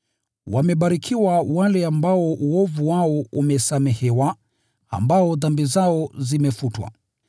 “Wamebarikiwa wale ambao wamesamehewa makosa yao, ambao dhambi zao zimefunikwa.